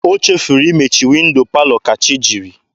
O chefuru imechi windo palọ ka chi jiri.